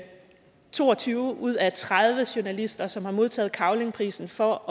to og tyve ud af tredive journalister som har modtaget cavlingprisen for